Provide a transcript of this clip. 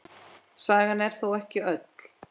Sagan er þó ekki öll.